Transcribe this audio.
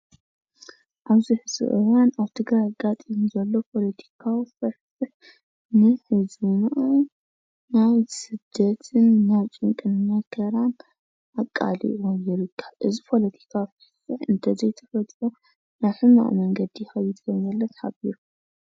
ኣብዚ ሕዚ እዋን ኣብ ትግራይ ኣጋጢሙ ዘሎ ፖለቲካዊ ፍሕፍሕ ናብ ስደትን ናብ ጭንቅን መከራን ኣቃሊዕዎም ይርከብ፡፡ እዚ ፖለቲካ እንተዘይተፈቲሑ ናብ ሕማቕ መንገዲ ይኸይድ ከምዘሎ ተሓቢሩ፡፡